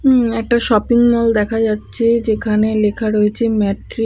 উমম একটা shopping mall দেখা যাচ্ছে যেখানে লেখা রয়েছে ম্যাট্রি---